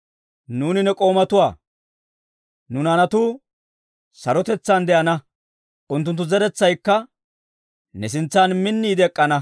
Nuuni ne k'oomatuwaa; nu naanatuu sarotetsaan de'ana. Unttunttu zeretsaykka ne sintsan minniide ek'k'ana.